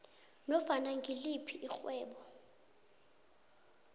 nofana ngiliphi irhwebo